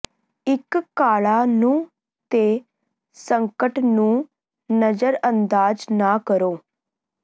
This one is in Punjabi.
ਇੱਕ ਕਾਲਾ ਨਹੁੰ ਦੇ ਸੰਕਟ ਨੂੰ ਨਜ਼ਰਅੰਦਾਜ਼ ਨਾ ਕਰੋ